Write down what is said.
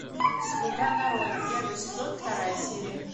слуга народа первый сезон вторая серия